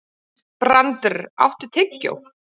Brandr, áttu tyggjó?